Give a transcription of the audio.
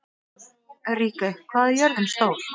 Ríkey, hvað er jörðin stór?